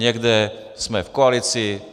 Někde jsme v koalici.